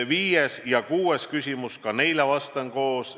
Viies ja kuues küsimus – ka neile vastan koos.